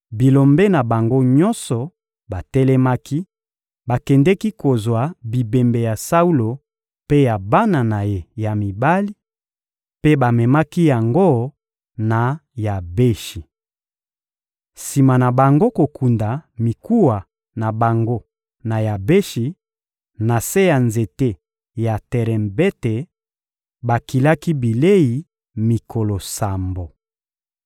bilombe na bango nyonso batelemaki, bakendeki kozwa bibembe ya Saulo mpe ya bana na ye ya mibali; mpe bamemaki yango na Yabeshi. Sima na bango kokunda mikuwa na bango na Yabeshi, na se ya nzete ya terebente, bakilaki bilei mikolo sambo.